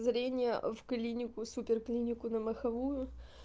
зрение в клинику супер клинику на моховую